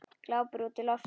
Glápir útí loftið.